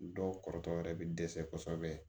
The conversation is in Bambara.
Dɔw kɔrɔtɔ yɛrɛ bɛ dɛsɛ kosɛbɛ